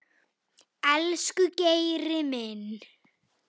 Elsku Geiri minn.